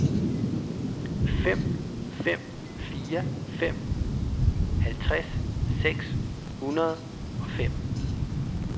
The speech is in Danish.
fem fem fire fem halvtreds seks hundrede og fem